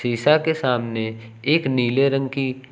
शीशा के सामने एक नीले रंग की--